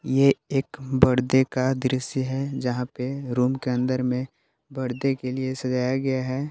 एक बर्डे का दृश्य है जहां पे रूम के अंदर में बर्डे के लिए सजाया गया है।